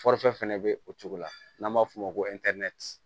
fɛnɛ bɛ o cogo la n'an b'a f'o ma ko